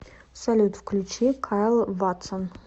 салют включи кайл ватсон